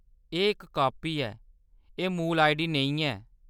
एह्‌‌ इक कापी ऐ, एह्‌‌ मूल आईडी नेईं ऐ।